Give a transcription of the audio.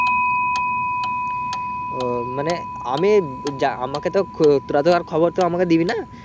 ও মানে আমি যা আমাকে তো তোরা তো আর খবর তো আমাকে দিবি না।